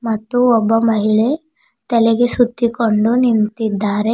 ಮತ್ತು ಒಬ್ಬ ಮಹಿಳೆ ತಲೆಗೆ ಸುತ್ತಿಕೊಂಡು ನಿಂತಿದ್ದಾರೆ.